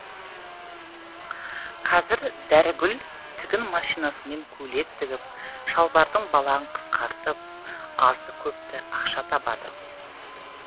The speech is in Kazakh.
қазір дәрігүл тігін машинасымен көйлек тігіп шалбардың балағын қысқартып азды көпті ақша табады